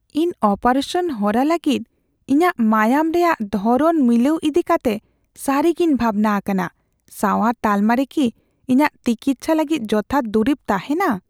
ᱤᱧ ᱚᱯᱟᱨᱮᱥᱟᱱ ᱦᱚᱨᱟ ᱞᱟᱹᱜᱤᱫ ᱤᱧᱟᱹᱜ ᱢᱟᱭᱟᱢ ᱨᱮᱭᱟᱜ ᱫᱷᱚᱨᱚᱱ ᱢᱤᱞᱟᱹᱣ ᱤᱫᱤᱠᱟᱛᱮ ᱥᱟᱹᱨᱤᱜᱮᱧ ᱵᱷᱟᱵᱽᱱᱟ ᱟᱠᱟᱱᱟ ᱾ ᱥᱟᱶᱟᱨ ᱛᱟᱞᱢᱟ ᱨᱮ ᱠᱤ ᱤᱧᱟᱹᱜ ᱛᱤᱠᱤᱪᱪᱷᱟᱹ ᱞᱟᱹᱜᱤᱫ ᱡᱚᱛᱷᱟᱛ ᱫᱩᱨᱤᱵ ᱛᱟᱦᱮᱱᱟ ?